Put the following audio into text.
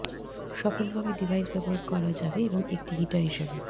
সফলভাবে ডিভাইস ব্যবহার করা যাবে এবং একটি হিটার হিসাবে